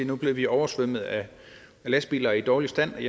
nu bliver vi oversvømmet af lastbiler i dårlig stand og